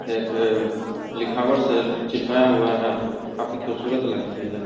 एक लिखावट से चिपकाया हुआ जो काफी खूबसूरत लगती है।